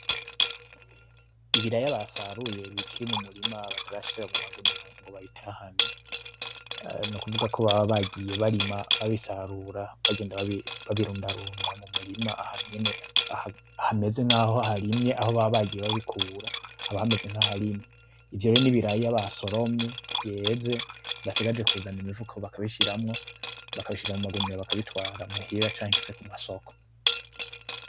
Ibiraya basaruye bikiri mumurima batarashira mu magunira ngo babitahane, nukuvuga bagiye barima babisarura bagenda babirundarunda mu murima ahantu hameze nk’aho harimye aho baba bagiye babikura haba hamez nk’aharimye ivyo n’ibiraya basoromye vyeze basigaje kuzana imifuko bakabishiramwo bakabishira mu magunira bakabitwa muhira canke mu masoko.